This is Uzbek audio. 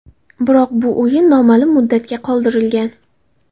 Biroq bu o‘yin noma’lum muddatga qoldirilgan.